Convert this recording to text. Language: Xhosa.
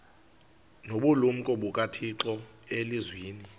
nobulumko bukathixo elizwini